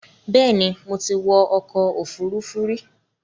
Bẹ́ẹ̀ni, mo ti wọ ọkọ̀ òfuurufú rí